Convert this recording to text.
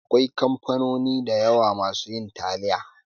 Akwai kamfanoni da yawa masu yin taliya